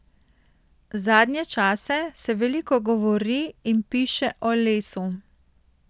Zadnje čase se veliko govori in piše o lesu.